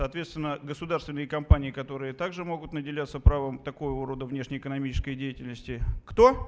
соответственно государственные компании которые также могут наделяться правом такого рода внешнеэкономической деятельности кто